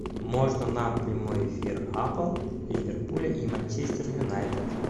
можно нам прямой эфир апл ливерпуля и манчестер юнайтед